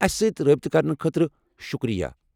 اَسہِ سۭتۍ رٲبطہٕ کرنہٕ خٲطرٕ شُکریہ۔